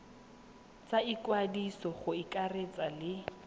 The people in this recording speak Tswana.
tsa ikwadiso go akaretsa le